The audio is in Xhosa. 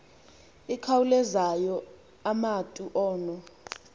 ikhawulezayo umatu ono